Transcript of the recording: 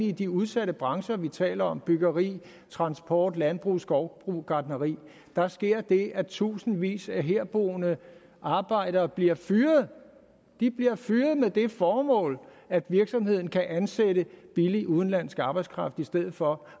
i de udsatte brancher vi taler om byggeri transport landbrug skovbrug og gartneri der sker det at tusindvis af herboende arbejdere bliver fyret de bliver fyret med det formål at virksomheden kan ansætte billig udenlandsk arbejdskraft i stedet for